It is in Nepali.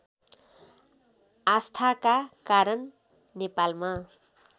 आस्थाका कारण नेपालमा